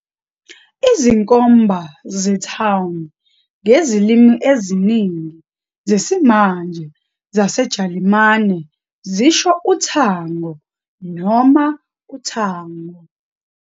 Izinkomba ze- "town" ngezilimi eziningi zesimanje zaseJalimane zisho uthango noma uthango.